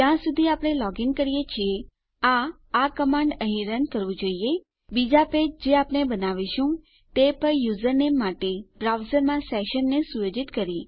જ્યાં સુધી આપણે લોગીન છીએ આ આ કમાંડ અહીં રન કરવું જોઈએ બીજા પેજ જે આપણે બનાવીશું તે પર આપણા યુઝરનેમ માટે બ્રાઉઝરમાં સેશનને સુયોજિત કરી